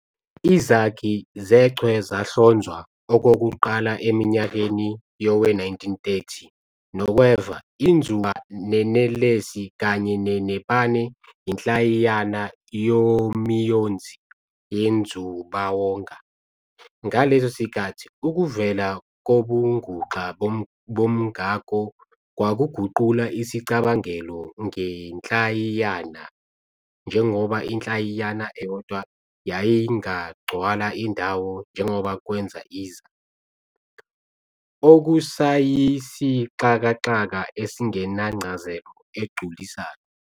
Izakhi zechwe zahlonzwa okokuqala eminyakeni yowe-1930 nokweva, inzuba nenelesi, kanye nebane inhlayiyana yomiyonzi wenzubawonga. Ngaleso sikhathi, ukuvela kobunguxa bomngako kwakuguqula isicabangelo ngenhlayiyana, njengoba inhlayiyana eyodwa yayingagcwala indawo njengoba kwenza iza, okusayisixakaxaka esingenancazelo egculisayo.